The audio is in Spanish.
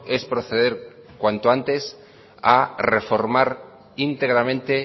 es proceder cuanto antes a reformar íntegramente